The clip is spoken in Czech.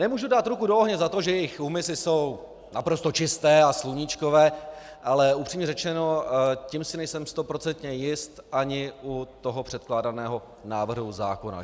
Nemůžu dát ruku do ohně za to, že jejich úmysly jsou naprosto čisté a sluníčkové, ale upřímně řečeno, tím si nejsem stoprocentně jist ani u toho předkládaného návrhu zákona.